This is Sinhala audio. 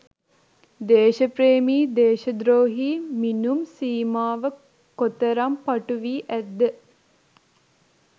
දේශප්‍රේමී දේශද්‍රෝහී මිනුම් සීමාව කොතරම් පටු වී ඇත්ද?